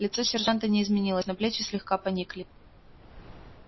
лицо сержанта не изменилось но плечи слегка поникли